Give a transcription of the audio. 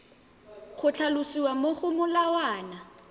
go tlhalosiwa mo go molawana